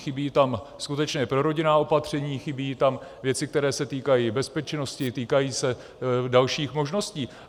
Chybí tam skutečná prorodinná opatření, chybí tam věci, které se týkají bezpečnosti, týkají se dalších možností.